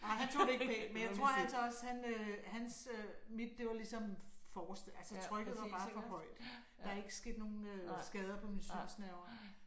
Nej han tog det ikke pænt men jeg tror altså også han øh hans øh mit det var ligesom for altså trykket var bare for højt. Der er ikke sket nogen skader på mine synsnerver